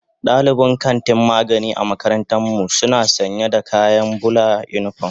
Dalibin kantin magani a makarantar mu suna sanya da kayan bulan unipom.